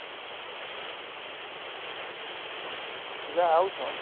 ପିଲା ଆଉଛନ